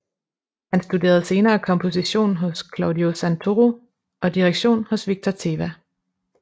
Han studerede senere komposition hos Claudio Santoro og direktion hos Victor Tevah